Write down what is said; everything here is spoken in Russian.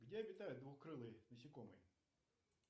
где обитают двукрылые насекомые